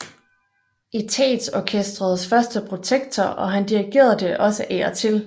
Etatsorkestrets første protektor og han dirigerede det også af og til